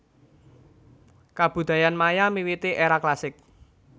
Kabudayan Maya miwiti éra klasik